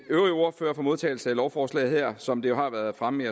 øvrige ordførere for modtagelsen af lovforslaget her som det jo har været fremme